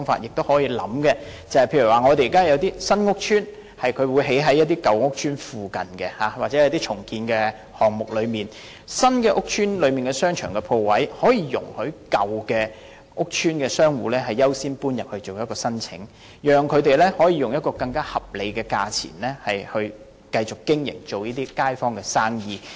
現時有些新屋邨會興建在舊屋邨附近，又或是在進行重建項目時，新建屋邨的商場鋪位可以容許舊屋邨商戶優先申請遷入，讓他們可以用一個更為合理的價錢，繼續經營街坊生意。